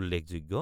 উল্লেখযোগ্য